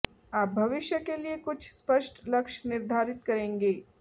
आप भविष्य के लिए कुछ स्पष्ट लक्ष्य निर्धारित करेंगे